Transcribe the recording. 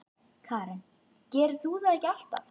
Karen: Gerir þú það ekki alltaf?